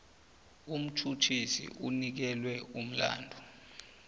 umtjhutjhisi onikelwe umlandu